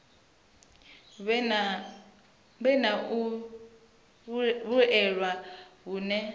vhe na u vhuelwa hune